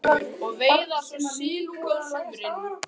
Að hnýta flugur og veiða svo silung á sumrin.